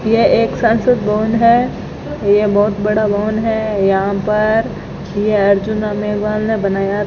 यह एक संसद भवन है ये बहोत बड़ा भवन है यहां पर ये अर्जुना मेवाल ने बनाया --